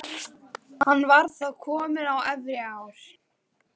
Hann var þá kominn á efri ár.